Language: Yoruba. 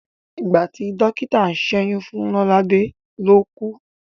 Ìgbàtí dọ́kítà ń ṣẹ́yún fún Lọ́ládẹ́ ló kú.